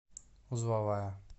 узловая